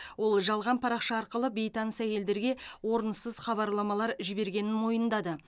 ол жалған парақша арқылы бейтаныс әйелдерге орынсыз хабарламалар жібергенін мойындады